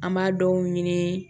An b'a dɔw ɲini